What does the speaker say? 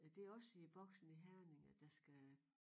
Er det også i Boxen i Herning at der skal